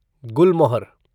गुलमोहर